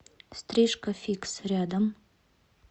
стрижка фикс рядом